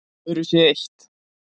Öðru sé eytt